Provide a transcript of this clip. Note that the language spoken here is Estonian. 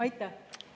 Aitäh!